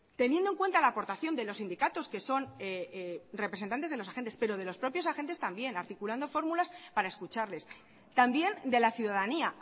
teniendo en cuenta la aportación de los sindicatos que son representantes de los agentes pero de los propios agentes también articulando fórmulas para escucharles también de la ciudadanía